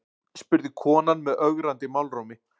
spurði konan með ögrandi málrómi.